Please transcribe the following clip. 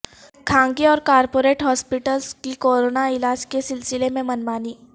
خانگی اور corporate hospitals کی کوروناعلاج کے سلسلہ میں من مانی